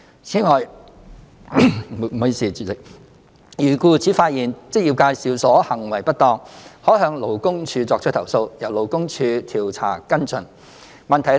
此外，如僱主發現職業介紹所行為不當，可向勞工處作出投訴，由勞工處調查跟進。